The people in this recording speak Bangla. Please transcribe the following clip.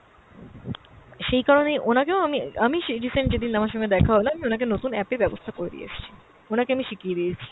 সেই কারণেই অনাকেও আমি আমি সেই recent যেদিন আমার সঙ্গে দেখা হল আমি ওনাকে নতুন app এর ব্যাবস্থা করে দিয়েসছি, ওনাকে আমি শিখিয়ে দিয়েছি।